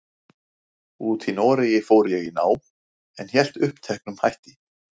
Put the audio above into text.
úti í Noregi fór ég í nám, en hélt uppteknum hætti.